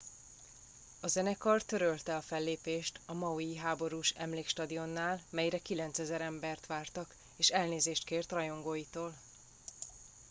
a zenekar törölte a fellépést a maui háborús emlékstadionnál melyre 9000 embert vártak és elnézést kért rajongóitól